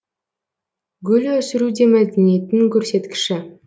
гүл өсіру де мәдениеттің көрсеткіші